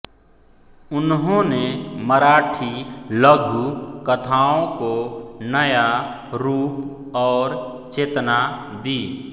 उन्होंने मराठी लघु कथाओं को नया रूप और चेतना दी